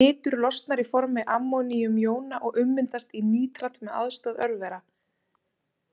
Nitur losnar í formi ammóníumjóna og ummyndast í nítrat með aðstoð örvera.